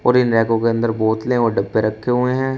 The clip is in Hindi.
और इन रैकों के अंदर बोतलें और डब्बे रखे हुए हैं।